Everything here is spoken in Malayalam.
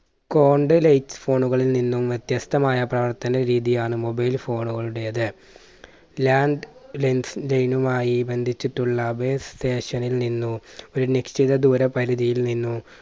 cont lite phone കളിൽ നിന്നും വ്യത്യസ്തമായ പ്രവർത്തന രീതിയാണ് mobile phone കളുടേത്. land lens line മായി ബന്ധിച്ചിട്ടുള്ള station ൽ നിന്നോ ഒരു നിശ്ചിത ദൂര പരിധിയിൽ നിന്നോ